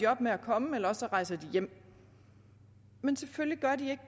op med at komme eller også rejser de hjem men selvfølgelig gør de